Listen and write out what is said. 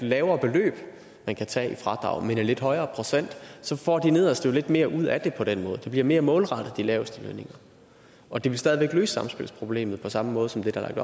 lavere beløb der kan tages i fradrag men lidt højere procent så får de nederste jo lidt mere ud af det på den måde det bliver mere målrettet de laveste lønninger og det vil stadig væk løse samspilsproblemet på samme måde som det der er